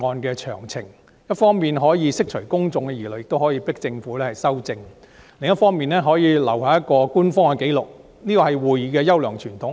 這一方面可以釋除公眾疑慮，迫使政府就修訂作出修改；另一方面留下一個官方紀錄，這是議會的優良傳統。